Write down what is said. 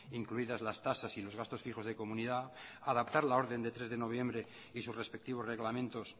incluidas las tasas y los gastos fijos de comunidad adaptar la orden de tres de noviembre y sus respectivos reglamentos